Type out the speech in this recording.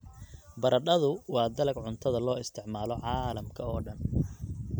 Baradhadu waa dalag cuntada loo isticmaalo caalamka oo dhan.